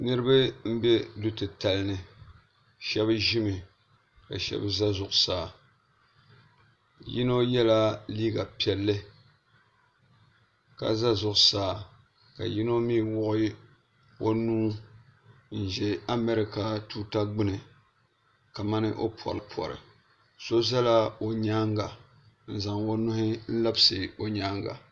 Niriba m be du'titalini sheba ʒimi ka sheba za zuɣusaa yino yela liiga piɛlli ka za zuɣusaa ka yino mee wuɣi o nuu n ʒɛ amarika tuuta gbini ka mani o pori pori so zala o nyaanga n zaŋ o nuhi n labisi o nyaanga.